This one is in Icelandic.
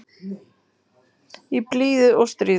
Í blíðu og stríðu.